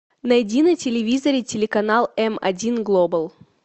найди на телевизоре телеканал эм один глобал